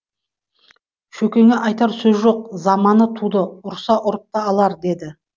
шөкеңе айтар сөз жоқ заманы туды ұрса ұрып та алар деді